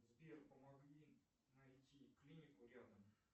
сбер помоги найти клинику рядом